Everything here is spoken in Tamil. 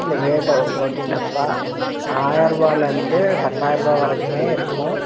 ப்ரோட்டீன் டப்பா ஆயர்வாலருந்து பத்தாயிருவா வரைக்குமே இருக்கும்.